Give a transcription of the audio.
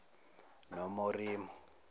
nomiromo